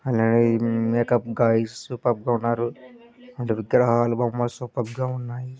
అలాగే ఈ makeup guys superb గా ఉన్నారు. అంటే విగ్రహాలు బొమ్మలు సూపర్ గా ఉన్నాయి.